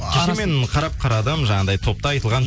кеше мен қарадым жаңағындай топта айтылған